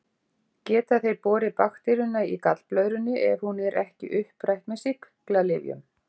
Geta þeir borið bakteríuna í gallblöðrunni ef hún er ekki upprætt með sýklalyfjum.